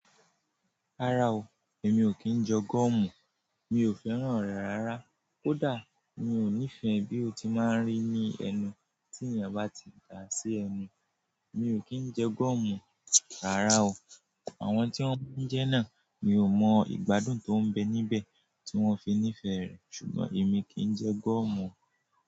Rárá o, èmi ò kí ń jẹ gọ́mù, mi ò fẹ́ràn rẹ̀ rárá. Kódà mi ò nífẹ̀ẹ́ bí ó ti máa ń rí ní ẹnu tí ènìyàn bá ti dà á sí ẹnu. Mi ò kí ń jẹ gọ́mù, rárá o. Àwọn tí wọ́n ń jẹ́ náà, mi ò mọ ìgbádùn tó ń bẹ níbẹ̀ tí wọ́n fi nífẹ̀ẹ́ rẹ̀, ṣùgbọ́n èmi kì í n jẹ gọ́mù o.